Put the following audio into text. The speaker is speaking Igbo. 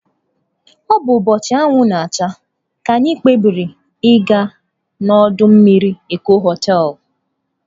Ọ bụ ụbọchị anwụ na-acha, anyị kpebiri ịga na ọdọ mmiri Eko hoteelu.